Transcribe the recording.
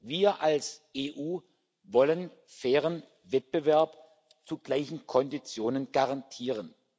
Wir als EU wollen fairen Wettbewerb zu gleichen Konditionen garantieren.